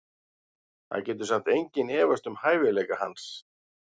Það getur samt enginn efast um hæfileika hans.